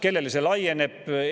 Kellele see laieneb?